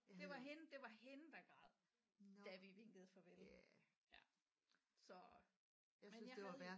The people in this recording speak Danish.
Det var hende det var hende der græd da vi vinkede farvel ja så men jeg havde